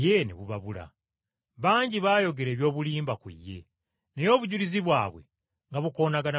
Bangi baayogera eby’obulimba ku ye, naye obujulizi bwabwe nga bukoonagana bukoonaganyi.